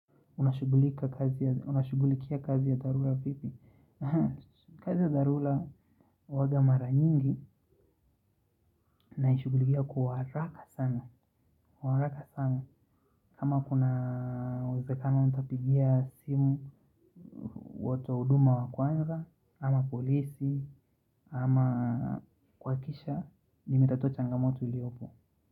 Unashugulikia kazi ya dharura vipi. Kazi ya dharura huwanga mara nyingi. Naishugulikia kwa haraka sana. Kama kuna uwezekano nitapigia simu watu wa uduma wakwanza ama polisi ama kwakisha. Nimetatua changamoto iliyopo.